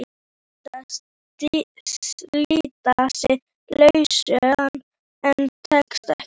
Hann reynir að slíta sig lausan en tekst ekki.